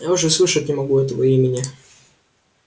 я уже слышать не могу этого имени